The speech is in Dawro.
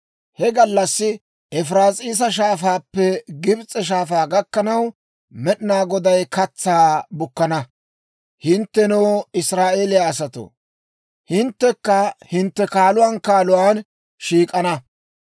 He gallassi Efiraas'iisa Shaafaappe Gibs'e Shaafaa gakkanaw, Med'inaa Goday katsaa bukana; hinttenoo, Israa'eeliyaa asatoo, hinttekka hintte taran taran shiik'ana.